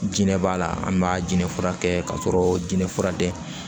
Jinɛ b'a la an b'a jɛnfura kɛ k'a sɔrɔ jinɛ fura tɛ